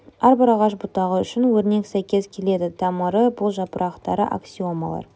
әбір ағаш бұтағы үшін өрнек сәйкес келеді тамыры бұл жапырақтары аксиомалар